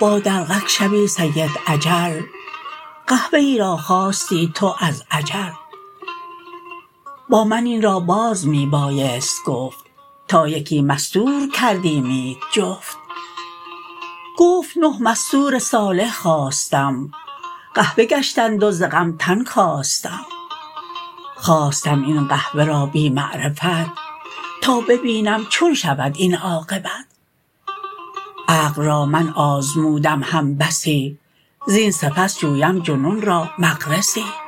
با دلقک شبی سید اجل قحبه ای را خواستی تو از عجل با من این را باز می بایست گفت تا یکی مستور کردیمیت جفت گفت نه مستور صالح خواستم قحبه گشتند و ز غم تن کاستم خواستم این قحبه را بی معرفت تا ببینم چون شود این عاقبت عقل را من آزمودم هم بسی زین سپس جویم جنون را مغرسی